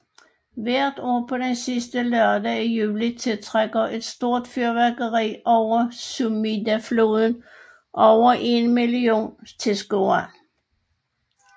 Hvert år på den sidste lørdag i juli tiltrækker et stort fyrværkeri over Sumidafloden over en million tilskuere